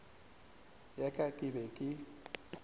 ya ka ke be ke